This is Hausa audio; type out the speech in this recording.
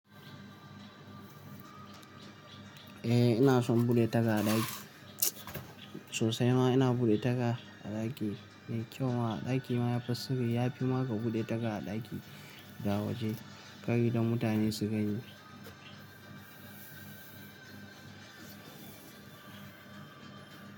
Eh ina son buɗe taga a ɗaki. Sosai ma ina buɗe taga a ɗaki. Mai kyau ma a ɗaki ma ya fi sirri. Ya fi ma ka buɗe taga a ɗaki da a waje. Kar idon mutane su gani.